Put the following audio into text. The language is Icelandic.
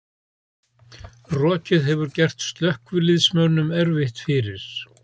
Rokið hefur gert slökkviliðsmönnum erfitt fyrir